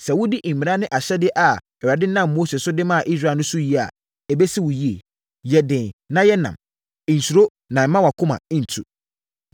Sɛ wodi mmara ne ahyɛdeɛ a Awurade nam Mose so de maa Israel no so yie a, ɛbɛsi wo yie. Yɛ den na yɛ nnam. Nsuro na mma wʼakoma ntu.